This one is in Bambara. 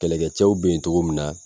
Kɛlɛkɛcɛw be yen togo min na